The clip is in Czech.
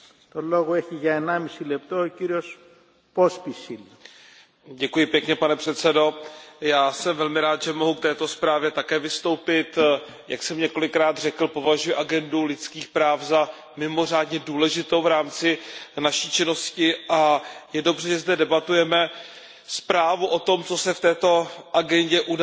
Pane předsedají, já jsem velmi rád, že mohu k této zprávě také vystoupit. Jak jsem několikrát řekl, považuji agendu lidských práv za mimořádně důležitou v rámci naší činnosti a je dobře, že zde debatujeme zprávu o tom, co se v této agendě událo v roce 2015 a co Evropská komise, Evropský parlament a paní vysoká